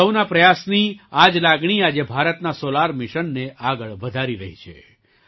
સૌનો પ્રયાસની આ જ લાગણી આજે ભારતના સૉલાર મિશનને આગળ વધારી રહી છે